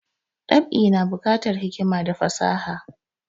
Dab'i na bukatar hikima da fasaha